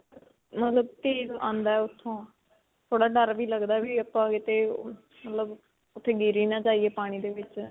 ਮਤਲਬ ਤੇਜ਼ ਆਉਂਦਾ ਹੈ ਉਥੋਂ.ਥੋੜਾ ਡਰ ਵੀ ਲਗਦਾ ਵੀ ਆਪਾਂ ਕਿਤੇ ਮਤਲਬ ਓੱਥੇ ਗਿਰ ਹੀ ਨਾ ਜਾਇਏ ਪਾਣੀ ਦੇ ਵਿੱਚ.